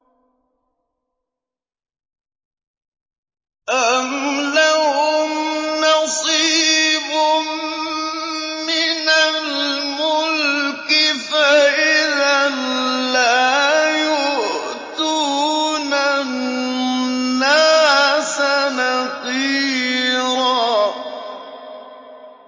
أَمْ لَهُمْ نَصِيبٌ مِّنَ الْمُلْكِ فَإِذًا لَّا يُؤْتُونَ النَّاسَ نَقِيرًا